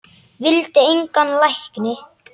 Vildi engan lækni.